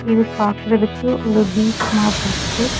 இது பாக்குறதுக்கு ஒரு பீச் மாதிரி இருக்கு.